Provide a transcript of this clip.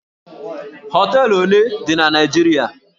Hóteélụ̀ ole dị na Naịjirịa?